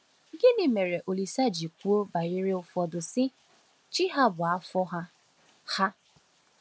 Gịnị mere Olísè ji kwuo banyere ụfọdụ, sị: “Chi ha bụ afọ ha”? ha”?